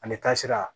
Ani taasira